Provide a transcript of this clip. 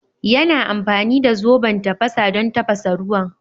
Yana amfani da zoben tafasa don tafasa ruwan.